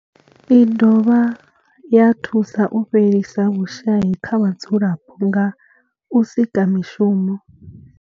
I dovha ya thusa u fhelisa vhushayi kha vhadzulapo nga u sika mishumo.